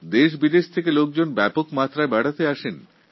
দেশবিদেশ থেকে বহু পর্যটক আসেন